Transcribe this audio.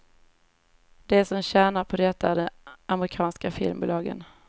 De som tjänar på detta är de amerikanska filmbolagen.